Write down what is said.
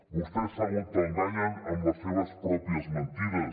vostès s’autoenganyen amb les seves pròpies mentides